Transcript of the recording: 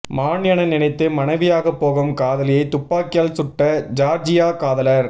மான் என நினைத்து மனைவியாகப் போகும் காதலியை துப்பாக்கியால் சுட்ட ஜார்ஜியா காதலர்